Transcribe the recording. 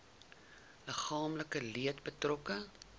liggaamlike leed betrokke